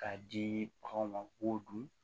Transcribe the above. K'a di bagan ma k'o dun